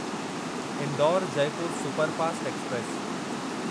Indore Jaipur superfast express